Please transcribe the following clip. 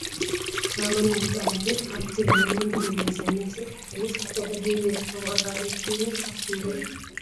ሳሮን ናይ ህፃናት መፅሓፍ ብ ትግርኛ ን ብ እንግሊዘኛ ዝተፀሓፈ መፅሓፍ ተደርዲሩ ይርከብ ። ዋጋ ንይቲ መፅሓፍ ክንደይ እዩ ?